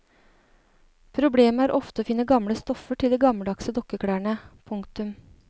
Problemet er ofte å finne gamle stoffer til de gammeldagse dukkeklærne. punktum